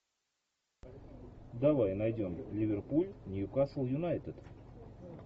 давай найдем ливерпуль ньюкасл юнайтед